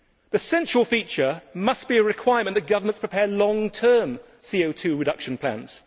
The central feature must be a requirement that governments prepare long term CO 2 reduction plans.